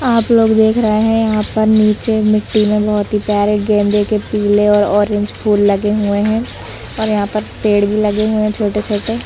आप लोग देख रहे हैं यहाँ पर नीचे मिट्टी में बहुत ही प्यारे गेंदे के पीले और ऑरेंज फूल लगे हुए हैं औरयहाँ पर पेड़ भी लगे हुए हैं छोटे-छोटे--